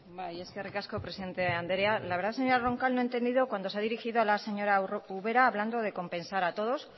bai eskerrik asko presidente anderea la verdad señora roncal no he entendido cuando se ha dirigido a la señora ubera hablando de compensar a todos